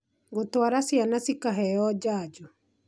Gũtwara ciana cikaheo njanjo